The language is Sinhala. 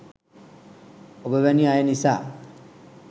ඔබ වැනි අය නිසා